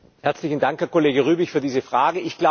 Herzlichen Dank, Kollege Rübig, für diese Frage.